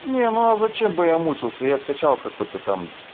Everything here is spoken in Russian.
ага зачем бы я мучился я скачал какой-то там